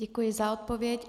Děkuji za odpověď.